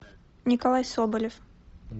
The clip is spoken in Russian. николай соболев